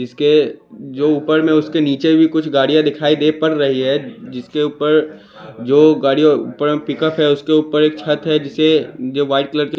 इसके जो ऊपर में उसके नीचे भी कुछ गाड़ियां दिखाई दे पड़ रही है जिसके ऊपर जो गाड़ियों ऊपर में पिकअप है उसके ऊपर एक छत है जिसे जो व्हाइट कलर की--